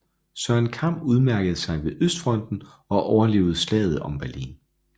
Søren Kam udmærkede sig ved østfronten og overlevede slaget om Berlin